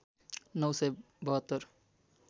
९ सय ७२